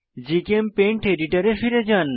GChemPaint এডিটরে ফিরে যান